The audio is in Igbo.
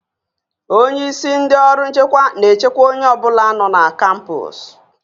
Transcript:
Onye isi ndị ọrụ nchekwa na-echekwa onye ọ bụla nọ na kampọs